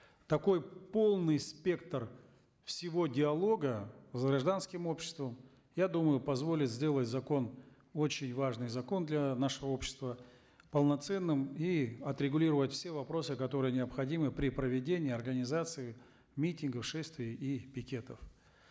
такой полный спектр всего диалога с гражданским обществом я думаю позволит сделать закон очень важный закон для нашего общества полноценным и отрегулировать все вопросы которые необходимы при проведении и организации митингов шествий и пикетов